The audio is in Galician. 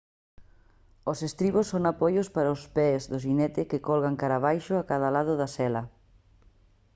os estribos son apoios para os pés do xinete que colgan cara abaixo a cada lado da sela